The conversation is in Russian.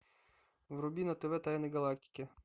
вруби на тв тайны галактики